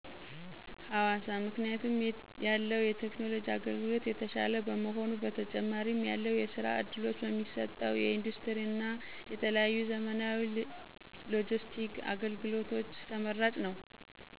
ሀዋሳ ክንያቱም ያለው የቴክኖሎጅ አገልግሎት የተሻለ በመሆኑ"በተጨማሪም ያለው የስራ ዕድሎች በሚሰጠው የኢንደስቲሪ እን የተለያዩ ዘመናዊ ሎጅስቲክ አገልግሎት ተመራጭ ነው